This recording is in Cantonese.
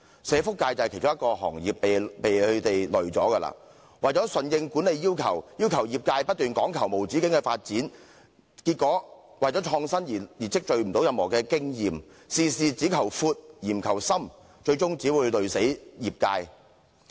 社福界便是其中一個被拖累的行業，為了順應管理要求，要求業界不斷講求無止境的發展，結果為了創新而無法累積任何經驗，事事只求闊，而不求深，最終只會拖垮業界。